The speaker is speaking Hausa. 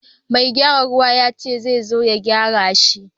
Mai gyaran ruwa yace zai zo ya gyara shi.